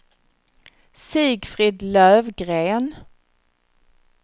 Sigfrid Löfgren